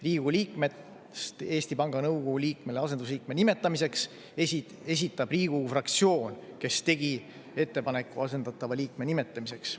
Riigikogu liikmest Eesti Panga nõukogu liikmele asendusliikme nimetamiseks esitab Riigikogu fraktsioon, kes tegi ettepaneku asendatava liikme nimetamiseks.